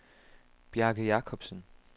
Bjarke Jakobsen